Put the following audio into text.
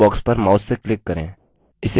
इस box पर mouse से click करें